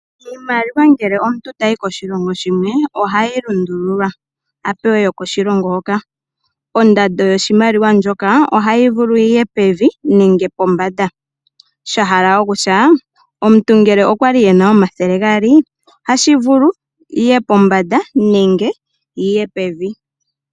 Iimaliwa ngele omuntu tayi koshilongo shimwe ohayi lundululwa, a pewe yokoshilongo hoka. Ondando yoshimaliwa shoka ohayi vulu yi ye pevi nenge pombanda, sha hala okutya omuntu ngele okwa li e na omathele gaali ohashi vulika yi ye pombanda nenge yi ye pevi.